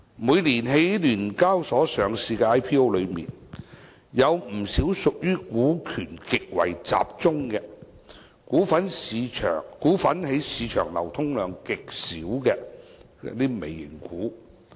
每年在香港聯合交易所有限公司上市的 IPO 之中，有不少屬於股權極為集中、股份在市場流通量極少的"微型股"。